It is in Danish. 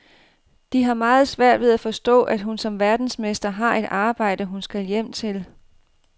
De har meget svært ved at forstå, at hun som verdensmester har et arbejde, hun skal hjem til.